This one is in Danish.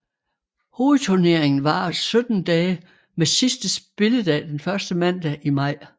Hovedturneringen varer 17 dage med sidste spilledag den første mandag i maj